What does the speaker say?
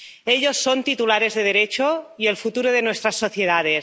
Ellos son titulares de derecho y el futuro de nuestras sociedades.